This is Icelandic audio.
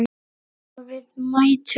Og við mættum.